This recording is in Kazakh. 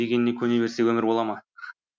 дегеніне көне берсе өмір бола ма